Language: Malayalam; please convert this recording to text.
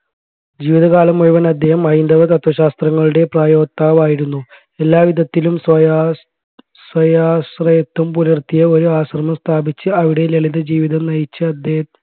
ജീവിതകാലം മുഴുവൻ അദ്ദേഹം ഹൈന്ദവ തത്ത്വശാസ്ത്രങ്ങളുടെ പ്രയോക്താവായിരുന്നു എല്ലാവിധത്തിലും സ്വയാസ് സ്വയാശ്രയത്ത്വം പുലർത്തിയ ഒരു ആശ്രമം സ്ഥാപിച്ച് അവിടെ ലളിത ജീവിതം നയിച്ച് അദ്ദേഹം